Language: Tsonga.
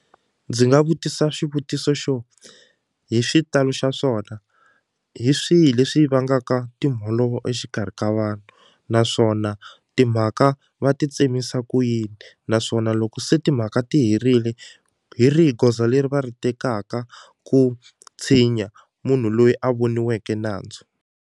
Ndzi nga vutisa xivutiso xo hi xitalo xa swona hi swihi leswi vangaka timholovo exikarhi ka vanhu naswona timhaka va ti tsemisa ku yini naswona loko se timhaka ti herile hi rihi goza leri va ri tekaka ku tshinya munhu loyi a voniweki nandzu.